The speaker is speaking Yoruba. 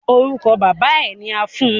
Orúkọ bàbáa ẹ ni a fún un.